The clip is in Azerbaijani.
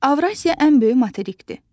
Avrasiya ən böyük materikdir.